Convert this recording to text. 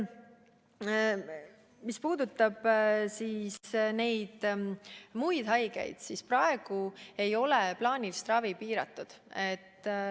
Mis puudutab muid haigeid, siis praegu ei ole plaanilist ravi piiratud.